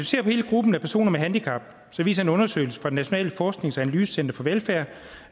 ser på hele gruppen af personer med handicap viser en undersøgelse fra det nationale forsknings og analysecenter for velfærd